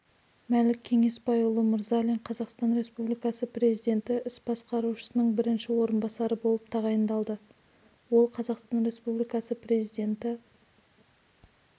мәлік кеңесбайұлы мырзалин қазақстан республикасы президенті іс басқарушысының бірінші орынбасары болып тағайындалды ол қазақстан республикасы президенті